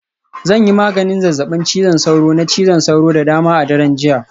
Zan yi maganin zazzabin cizon sauro, na cizon sauro da dama a daren jiya